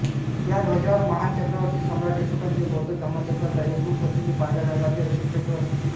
या ध्वजावर महान चक्रवर्ती सम्राट अशोकांचे बौद्ध धम्मचक्राचा एक रूप असलेले पांढऱ्या रंगातील अशोकचक्र असते